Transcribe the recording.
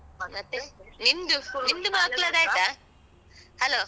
ಹ್ಮ. ಮತ್ತೆ? ನಿಮ್ದು school ನಿಮ್ದು ಮಕ್ಳದ್ದಾಯ್ತ? Hello.